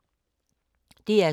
DR2